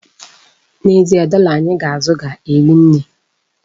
N'ezie, dọla anyị ga-azụ ga-eri nne.